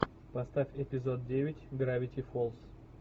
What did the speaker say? поставь эпизод девять гравити фолз